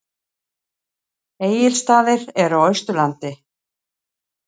Egilsstaðir eru á Austurlandi.